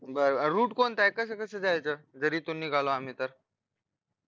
बरं rute कोणताये कस कस जायचं जर एथून निघालो आम्ही तर